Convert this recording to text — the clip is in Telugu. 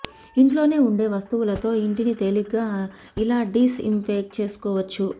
ఇంట్లోనే ఉండే వస్తువులతో ఇంటిని తేలిగ్గా ఇలా డిస్ ఇంఫెక్ట్ చేసుకోవచ్చు